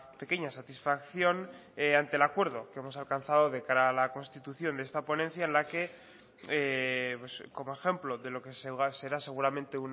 pequeña satisfacción ante el acuerdo que hemos alcanzado de cara a la constitución de esta ponencia en la que como ejemplo de lo que será seguramente